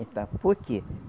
Então, por quê?